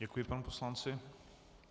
Děkuji panu poslanci.